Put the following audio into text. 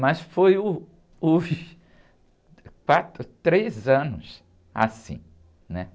Mas foi uh, os quatro, três anos assim, né?